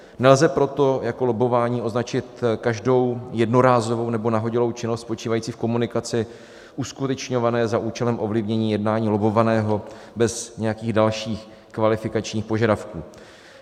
Nelze proto jako lobbování označit každou jednorázovou nebo nahodilou činnost spočívající v komunikaci uskutečňované za účelem ovlivnění jednání lobbovaného bez nějakých dalších kvalifikačních požadavků.